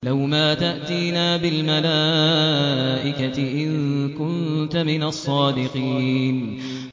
لَّوْ مَا تَأْتِينَا بِالْمَلَائِكَةِ إِن كُنتَ مِنَ الصَّادِقِينَ